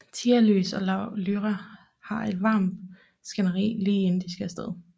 Tialys og Lyra har et varmt skænderi lige inden de skal af sted